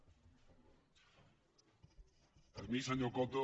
a mi senyor coto